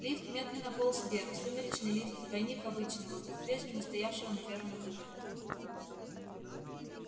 лифт медленно полз вверх сумеречный лифт двойник обычного попрежнему стоявшего на первом этаже